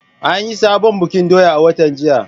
An yi sabon bikin doya a watan jiya.